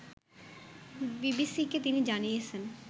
বিবিসিকে তিনি জানিয়েছেন